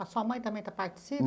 A sua mãe também está